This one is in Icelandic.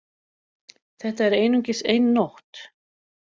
Þetta er einungis ein nótt